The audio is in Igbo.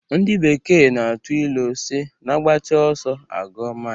Ndị bekee na-atụ ilu sị na agbacha ọsọ, agụọ mail